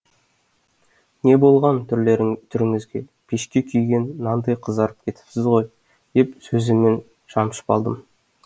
не болған түріңізге пешке күйген нандай қызарып кетіпсіз ғой деп сөзіммен шымшып алдым